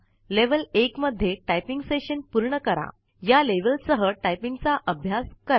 level १ मध्ये typing session पूर्ण कराया लेवेलसह टाईपिंगचा आभ्यास करा